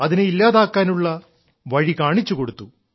അതിനെ ഇല്ലാതാക്കാനുള്ള വഴി കാണിച്ചു കൊടുത്തു